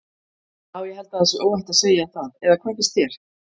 Já ég held að það sé óhætt að segja það eða hvað finnst þér?